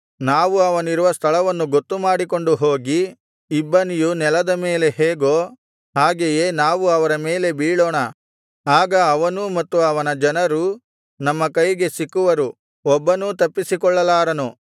ನಾವು ಅವನಿರುವ ಸ್ಥಳವನ್ನು ಗೊತ್ತುಮಾಡಿಕೊಂಡು ಹೋಗಿ ಇಬ್ಬನಿಯು ನೆಲದ ಮೇಲೆ ಹೇಗೊ ಹಾಗೆಯೇ ನಾವು ಅವರ ಮೇಲೆ ಬೀಳೋಣ ಆಗ ಅವನೂ ಮತ್ತು ಅವನ ಜನರೂ ನಮ್ಮ ಕೈಗೆ ಸಿಕ್ಕುವರು ಒಬ್ಬನೂ ತಪ್ಪಿಸಿಕೊಳ್ಳಲಾರನು